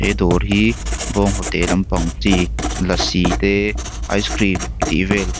he dawr hi bawnghnute lampang chi lasi te ice cream tih vel --